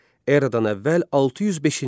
Eradan əvvəl 605-ci il.